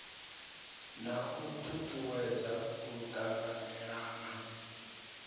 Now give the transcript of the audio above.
na u tutuwedza u tanganelana